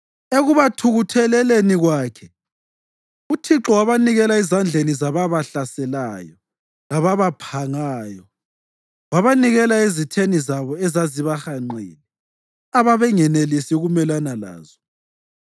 Ekubathukutheleleni kwakhe uThixo wabanikela ezandleni zababahlaselayo lababaphangayo. Wabanikela ezitheni zabo ezazibahanqile, ababengasenelisi ukumelana lazo.